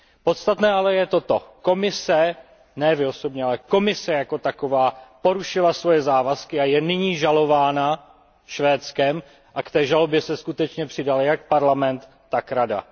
Podstatné ale je toto Komise, ne vy osobně, ale Komise jako taková porušila svoje závazky a je nyní žalována Švédskem a k té žalobě se skutečně přidal jak Parlament, tak Rada.